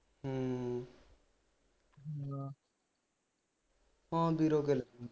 ਹਮ ਠੀਕ ਆ ਹਾਂ ਗਿਲ